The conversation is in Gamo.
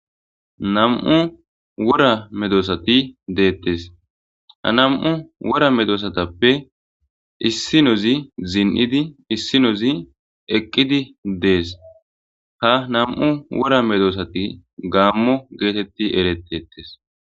Nam'u wora meedosati dettes ha nam'u wora medossatape issinozi ziin'idi issinozi eqqidi dess ha nam'u wora medosati gaamo getteti eretetes.